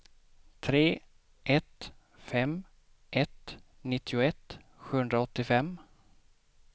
tre ett fem ett nittioett sjuhundraåttiofem